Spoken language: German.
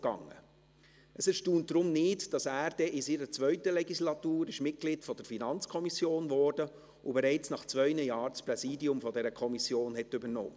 Es erstaunt deshalb nicht, dass er in seiner zweiten Legislatur Mitglied der FiKo wurde und bereits nach zwei Jahren das Präsidium dieser Kommission übernahm.